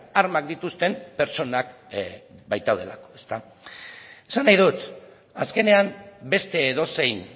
armak dituzten pertsonak baitaudelako esan nahi dut azkenean beste edozein